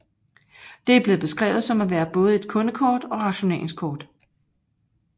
Det er blevet beskrevet som at være både et kundekort og rationeringskort